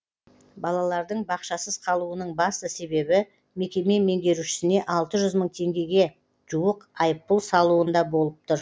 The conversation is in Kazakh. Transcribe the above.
балалардың бақшасыз қалуының басты себебі мекеме меңгерушісіне алты жүз мың теңгеге жуық айыппұл салуында болып тұр